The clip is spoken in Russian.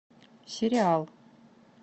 сериал